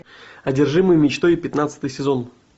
одержимый мечтой пятнадцатый сезон